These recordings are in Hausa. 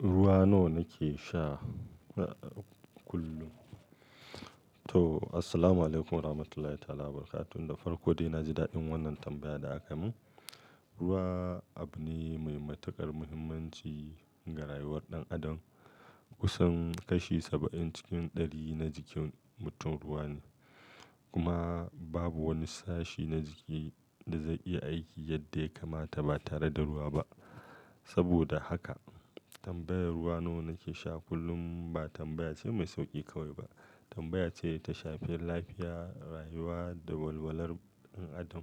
Ruwa nawa nake sha kullum? To, assalamualaikum warahmatullahi ta'ala barakatuh. Da farko dai na ji daɗin wannan tambaya da aka min. Ruwa abu ne mai matuƙar muhimmanci ga rayuwar ɗan adam. Kusan kashi saba'in cikin ɗari na jikin mutum ruwa ne. Kuma babu wani sashi na jiki da zai iya aiki yadda ya kamata ba tare da ruwa ba. Saboda haka tambayar "Ruwa nawa nake sha kullum?" ba tambaya ce mai sauki kawai ba. Tambaya ce da ta shafi lafiya, rayuwa da walwalar ɗan adam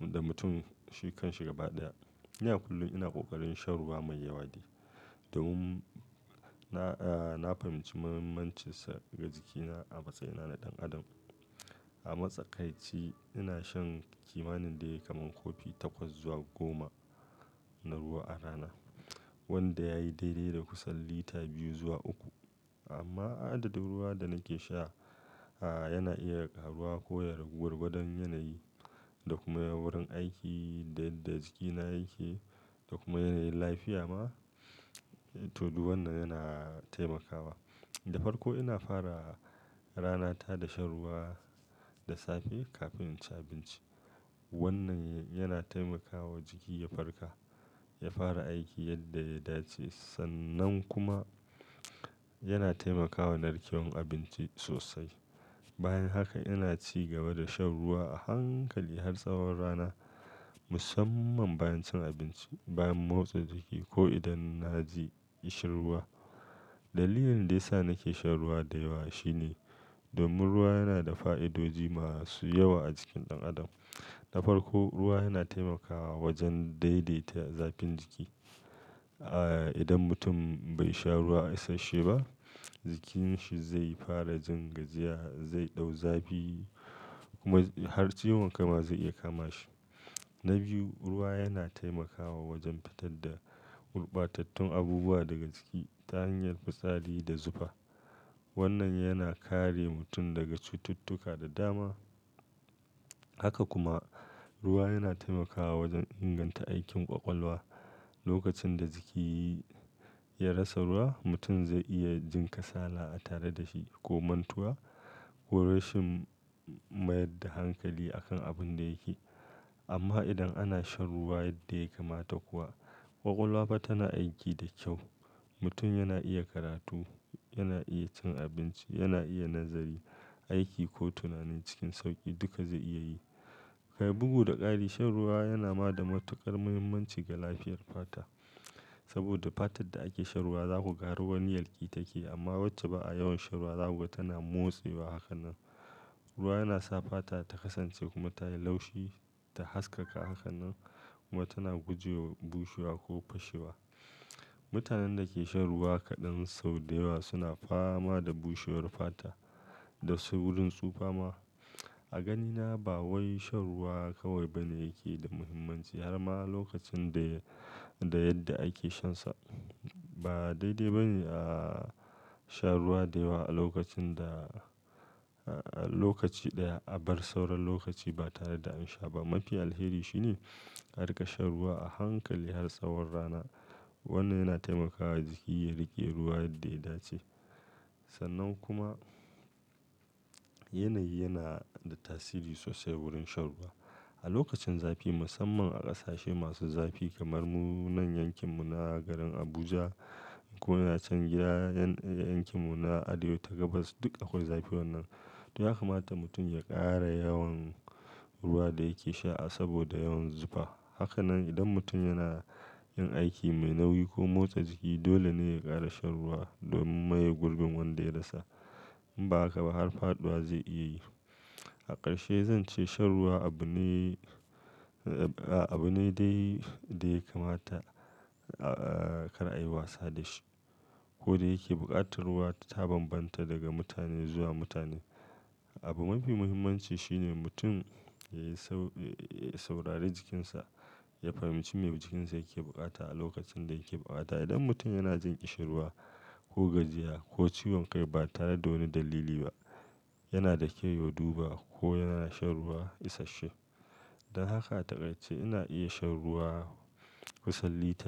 da mutum shi kan shi gaba ɗaya. Ina kullum ina ƙoƙarin shan ruwa mai yawa ne domin na, eh, na fahimci muhimmancinsa ga jikina a matsayina na ɗan adam. A matsakaici ina shan kimanin dai kamar kofi takwas zuwa goma na ruwa a rana, wanda ya yi daidai da kusan lita biyu zuwa uku. Amma adadin ruwa da nake sha, a, yana iya ƙaruwa ko ya ragu gwagwadon yanayi da kuma wurin aiki da yadda jikina yake da kuma yanayin lafiya ma to, duk wannan yana taimakawa. Da farko ina fara ranata da shan ruwa da safe kafin in ci abinci. Wannan yana taimakawa jiki ya farka, ya fara aiki yadda ya dace. Sannan kuma yana taimakawa narkewar abinci sosai. Bayan haka ina ci gaba da shan ruwa a hankali har tsawon rana, musamman bayan cin abinci, bayan motsa jiki ko idan na ji ƙishirwa. Dalilin da ya sa nake shan ruwa da yawa shi ne domin ruwa yana da fa'idoji masu yawa a jikin ɗan adam. Da farko ruwa yana taimakawa wajen daidaita zafin jiki. A, idan mutum bai sha ruwa isasshe ba, jikinsa zai fara jin gajiya, zai ɗau zafi kuma har ciwon kai ma zai iya kama shi. Na biyu, ruwa yana taimakawa wajen fitar da gurɓatattun abubuwa daga jiki ta hanyar fitsari da zufa. Wannan yana kare mutum daga cututtuka da dama. Haka kuma ruwa yana taimakawa wajen inganta aikin ƙwaƙwalwa. Lokacin da jiki ya rasa ruwa, mutum zai iya jin kasala tare da shi ko mantuwa ko rashin mayar da hankali a kan abin da yake. Amma idan ana shan ruwa yadda ya kamata kuwa, ƙwaƙwalwa fa tana aiki da kyau. Mutum yana iya karatu, yana iya cin abinci, yana iya nazari, aiki ko tunani cikin sauƙi. Duka zai iya yi. Kai bugu da ƙari shan ruwa yana ma da matuƙar muhimmanci ga lafiyar fata. Saboda fatar da ake shan ruwa za ku ga ruwan yalƙi take amma wacce ba a yawan shan ruwa za ku ga tana motsewa haka nan. Ruwa yana sa fata ta kasance kuma tayi laushi ta haskaka. Haka nan kuma tana guje wa bushewa ko fashewa. Mutanen da ke shan ruwa kaɗan sau da yawa suna fama da bushewar fata da saurin tsufa ma. A ganina ba wai shan ruwa kawai bane yake da muhimmanci har ma lokacin da, da yadda ake shansa. Ba daidai ba ne a sha ruwa da yawa a lokacin da, a lokaci ɗaya a bar sauran lokaci ba tare da an sha ba. Mafi alheri shi ne ka riƙa shan ruwa a hankali har tsawon rana. Wannan yana taimakawa jiki ya riƙe ruwa yadda ya dace. Sannan kuma yanayi yana da tasiri sosai wurin shan ruwa. A lokacin zafi musamman a ƙasashe masu zafi kamar munan yankin mu na garin Abuja ko nacen gida yankin mu na Arewa ta gabas duk akwai zafi wannan. To ya kamata mutum ya ƙara yawan ruwa da yake sha saboda yawan zufa. Haka nan idan mutum yana yin aiki mai nauyi ko motsa jiki dole ne ya ƙara shan ruwa domin maye gurbin wanda ya rasa. In ba haka ba har faɗuwa zai iya yi. A ƙarshe zan ce shan ruwa abu ne, a, abu ne dai da ya kamata, a kar a yi wasa da shi. Ko da yake buƙatar ruwa ta bambanta daga mutane zuwa mutane, abu mafi muhimmanci shi ne mutum ya sau, ya saurari jikinsa, ya fahimci me jikinsa yake buƙata a lokacin da yake buƙata. Idan mutum yana jin ƙishirwa ko gajiya ko ciwon kai ba tare da wani dalili ba, yana da kyau ya duba ko yana shan ruwa isasshe. Don haka a taƙaice ina iya shan ruwa kusan lita.